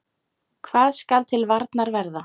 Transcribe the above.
Hvað skal til varnar verða?